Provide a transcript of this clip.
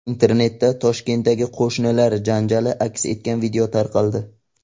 Internetda Toshkentdagi qo‘shnilar janjali aks etgan video tarqaldi.